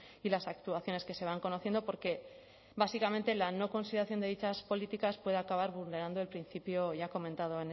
y las actuaciones que se van conociendo porque básicamente la no consideración de dichas políticas puede acabar vulnerando el principio ya comentado